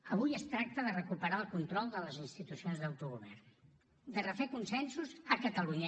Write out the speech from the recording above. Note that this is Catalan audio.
avui es tracta de recuperar el control de les institucions d’autogovern de refer consensos a catalunya